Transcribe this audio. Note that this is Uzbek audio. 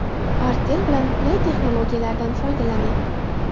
Artel bilan qulay texnologiyalardan foydalaning.